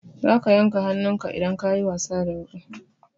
Za ka yanka hannunka idan ka yi wasa da wuƙa.